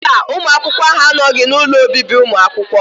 Mba, ụmụ akwụkwọ ahụ anọghị n'ụlọ obibi ụmụ akwụkwọ